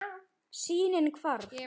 Sýnin hvarf.